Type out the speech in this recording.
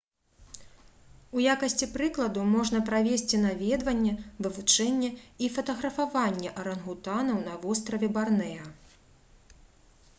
у якасці прыкладу можна прывесці наведванне вывучэнне і фатаграфаванне арангутанаў на востраве барнэа